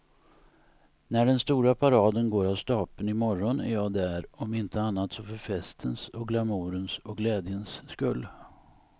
När den stora paraden går av stapeln i morgon är jag där, om inte annat så för festens och glamourens och glädjens skull.